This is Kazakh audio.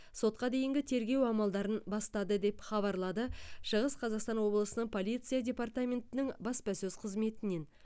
сотқа дейінгі тергеу амалдарын бастады деп хабарлады шығыс қазақстан облысының полиция департаментінің баспасөз қызметінен